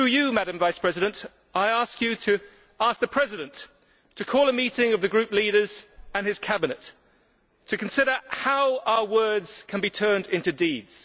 Madam Vice President, I ask you to ask the President to call a meeting of the group leaders and his cabinet to consider how our words can be turned into deeds.